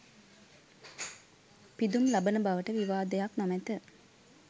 පිදුම් ලබන බවට විවාදයක් නොමැත.